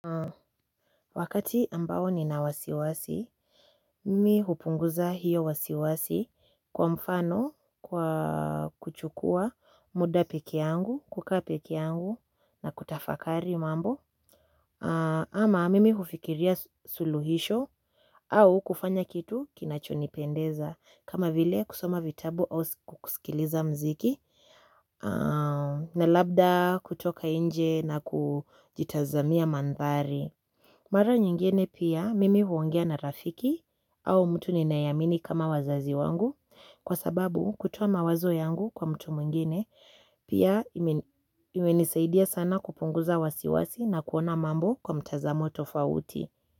Wakati ambao nina wasiwasi, mimi hupunguza hio wasiwasi kwa mfano kwa kuchukua muda peke yangu, kuka peke yangu na kutafakari mambo. Ama mimi hufikiria suluhisho. Au kufanya kitu kinachonipendeza kama vile kusoma vitabu au kusikiliza mziki. Na labda kutoka nje na kujitazamia mandhari. Mara nyingene pia mimi huongea na rafiki au mtu ninaye amini kama wazazi wangu kwa sababu kutuoa mawazo yangu kwa mtu mwingine pia imenisaidia sana kupunguza wasiwasi na kuona mambo kwa mtazamo tofauti.